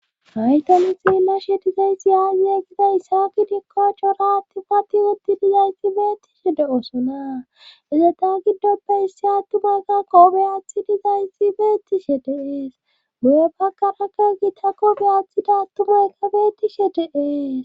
haytoni xilashe dizayssi yaaye gida isaaki dikkochoraati pati utti dizayssi beettishe de7osona izeta giddoppe issi attumoykka koobeyaathi dizayssi beettishe deees buye pakarakka gita koobeyathida atumoykka beettishe deee